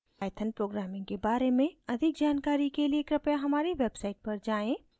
python programming के बारे में अधिक जानकारी के लिए कृपया हमारी website पर जाएँ